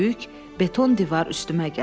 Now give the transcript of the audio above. Böyük beton divar üstümə gəldi.